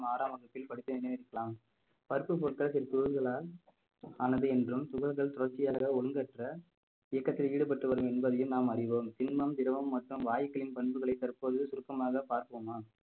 ஆறாம் வகுப்பில் படித்த நினைவிருக்கலாம் பருப்பு பொருட்கள் ஆனது என்றும் துகள்கள் தொடர்ச்சியாக ஒழுங்கற்ற இயக்கத்தில் ஈடுபட்டு வரும் என்பதையும் நாம் அறிவோம் திண்மம், திரவம் மற்றும் வாயுக்களின் பண்புகளை தற்போது சுருக்கமாக பார்ப்போமா